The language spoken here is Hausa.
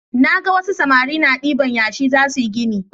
Naga wasu samari na diban yashi zasuyi gini